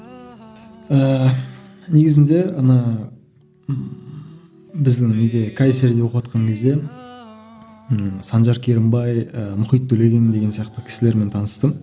ыыы негізінде ана ммм біздің не де кайсерде оқыватқан кезде ыыы санжар керімбай ы мұхит төлеген деген сияқты кісілермен таныстым